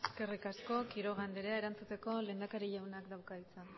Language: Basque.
eskerrik asko quiroga anderea erantzuteko lehendakari jaunak dauka hitza